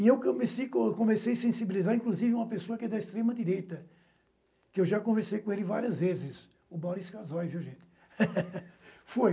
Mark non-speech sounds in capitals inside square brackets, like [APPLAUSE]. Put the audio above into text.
E eu comecei co eu comecei [UNINTELLIGIBLE] sensibilizar, inclusive, uma pessoa que é da extrema-direita, que eu já conversei com ele várias vezes, o Boris Karzoy, viu, gente? [LAUGHS]